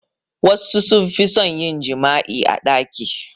Wassu sun fi son yin jima'i a ɗaki